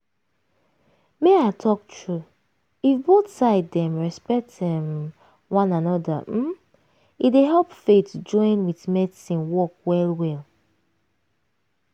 make i talk true if both side dem respect umm one anoda hmmm e dey help faith join with medicine work well well.